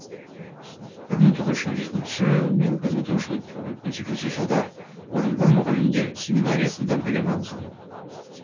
бір мың тоғыз жүз он жетінші мың тоғыз жүз он сегізінші жылдары орынбор мұғалімдер семинариясында білім алған